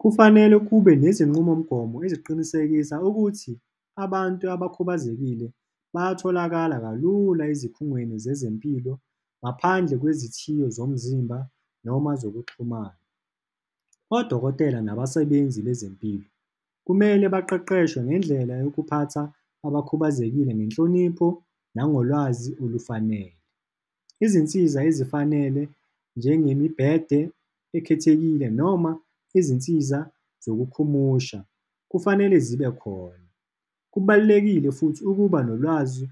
Kufanele kube nezinqubomgomo eziqinisekisa ukuthi abantu abakhubazekile bayatholakala kalula ezikhungweni zezempilo ngaphandle kwezithiyo zomzimba noma zokuxhumana. Odokotela nabasebenzi bezempilo, kumele baqeqeshwe ngendlela yokuphatha abakhubazekile ngenhlonipho nangolwazi olufanele. Izinsiza ezifanele, njengemibhede ekhethekile noma izinsiza zokukhumusha kufanele zibe khona. Kubalulekile futhi ukuba nolwazi